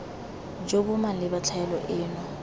jo bo maleba tlhaelo eno